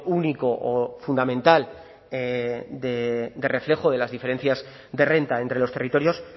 único o fundamental de reflejo de las diferencias de renta entre los territorios